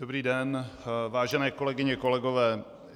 Dobrý den, vážené kolegyně, kolegové.